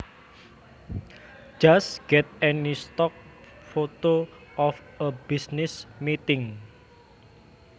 Just get any stock photo of a business meeting